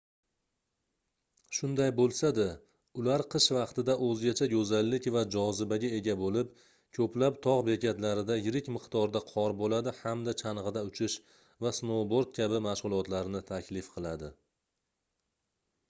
shunday boʻlsa-da ular qish vaqtida oʻzgacha goʻzallik va jozibaga ega boʻlib koʻplab togʻ bekatlarida yirik miqdorda qor boʻladi hamda changʻida uchish va snouboard kabi mashgʻulotlarni taklif qiladi